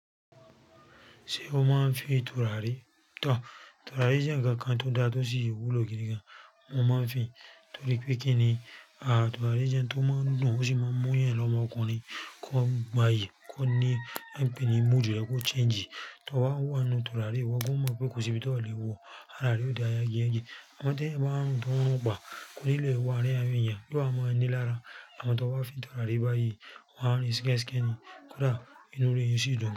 Ṣé o máa ń fi tùràrí tọ̀? Tùràrí jẹ́ ǹkan kan tó dára tó sì wúlò gidi gan. Mo máa ń fi, torí pé kí ni, tùràrí jẹ́ un tó máa ń dùn, ó sì máa ń mú ééyàn lọ́mọ ọkùnrin kọ́ gbayì, kọ́ ní, hyping ní mood rẹ kó change. Tó bá wà nínú turárì, ìwọ gan ò mọ̀ pé kò sí ibi tí o lè wọ, ara rẹ ò dá yagi yagi. Àmọ́ tí èyàn bá ń rùn, tó bá ń rùn pa, kò ní lè wọ àárín àwọn èyàn, yó wá máa ní lára, àmọ́ tó bá fín tùràrí báyìí wà á rìn skeske ni kódà inú rẹ̀ ó sì dùn gan.